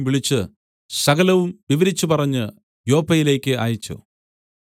വിളിച്ച് സകലവും വിവരിച്ചുപറഞ്ഞ് യോപ്പയിലേക്ക് അയച്ചു